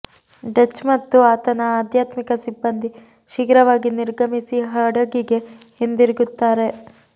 Dutch ಮತ್ತು ಆತನ ಆಧ್ಯಾತ್ಮಿಕ ಸಿಬ್ಬಂದಿ ಶೀಘ್ರವಾಗಿ ನಿರ್ಗಮಿಸಿ ಹಡಗಿಗೆ ಹಿಂದಿರುಗುತ್ತಾರೆ